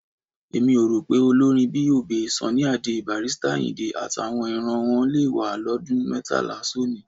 Èmi ò rò pé olórin bíi Obey, Sunny Adé, Barrister Àyìndé, àtàwọn ìran wọn le wà lọ́dún mẹ́tàlá sónìí.